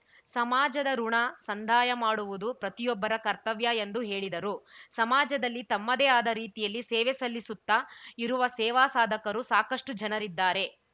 ಸಮಾಜದ ಋುಣ ಸಂದಾಯ ಮಾಡುವುದು ಪ್ರತಿಯೊಬ್ಬರ ಕರ್ತವ್ಯ ಎಂದು ಹೇಳಿದರು ಸಮಾಜದಲ್ಲಿ ತಮ್ಮದೇ ಆದ ರೀತಿಯಲ್ಲಿ ಸೇವೆ ಸಲ್ಲಿಸುತ್ತ ಇರುವ ಸೇವಾ ಸಾಧಕರು ಸಾಕಷ್ಟುಜನರಿದ್ದಾರೆ